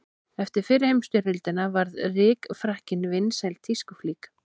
Eftir fyrri heimsstyrjöldina varð rykfrakkinn vinsæl tískuflík.